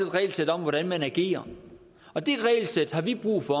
regelsæt om hvordan man agerer og det regelsæt har vi brug for